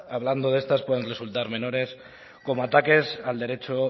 hablando de estas puedan resultar menores como ataques al derecho